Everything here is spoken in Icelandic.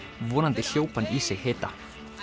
vonandi hljóp hann í sig hita